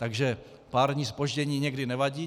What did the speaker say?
Takže pár dní zpoždění někdy nevadí.